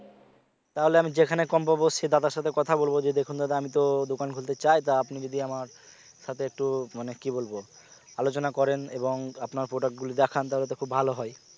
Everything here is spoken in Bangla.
তাহলে আমি যেখানে কম পাবো সে দাদার সাথে কথা বলবো যে দেখুন দাদা আমি তো খুলতে চাই তা আপনি যদি আমার সাথে একটু মানে কি বলব আলোচনা করেন এবং আপনার product গুলি দেখান তাহলে তো খুব ভালো হয়